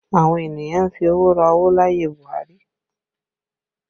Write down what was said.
Àwọn ènìyàn ń fi owó ra owó láyé Buhari